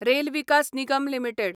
rail Vikas Nigam limited